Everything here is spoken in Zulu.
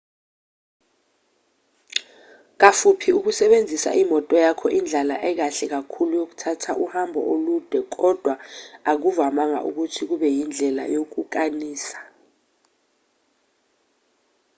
kafuphi ukusebenzisa imoto yakho indlela ekahle kakhulu yokuthatha uhambo olude kodwa akuvamanga ukuthi kube yindlela yokukanisa